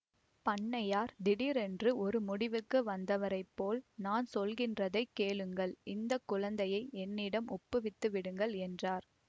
பண்ணையார் திடீரென்று ஒரு முடிவுக்கு வந்தவரைப் போல் நான் சொல்கின்றதைக் கேளுங்கள் இந்த குழந்தையை என்னிடம் ஒப்புவித்துவிடுங்கள் என்றார்